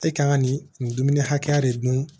E kan ka nin dumuni hakɛya de dun